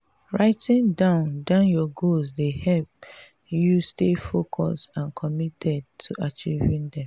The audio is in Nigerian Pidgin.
writing down down your goals dey help you stay focused and committed to achieving dem.